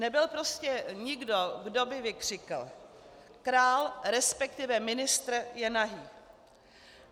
Nebyl prostě nikdo, kdo by vykřikl: "Král, respektive ministr je nahý!"